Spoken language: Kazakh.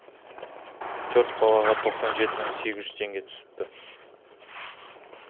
төрт балаға тоқсан жеті мың сегіз жүз теңге түсіпті